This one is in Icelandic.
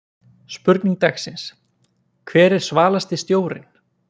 Spurning dagsins: Hver er svalasti stjórinn?